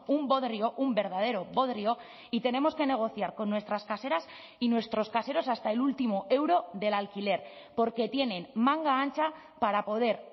un bodrio un verdadero bodrio y tenemos que negociar con nuestras caseras y nuestros caseros hasta el último euro del alquiler porque tienen manga ancha para poder